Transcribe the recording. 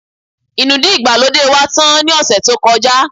Inúdí ìgbàlódé wá tán ni ose tí ó kọjá